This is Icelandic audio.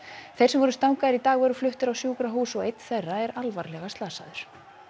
þeir sem voru í dag voru fluttir á sjúkrahús og einn þeirra er alvarlega slasaður